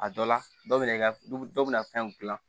A dɔ la dɔ bɛ na i ka dɔ bɛ na fɛn gilan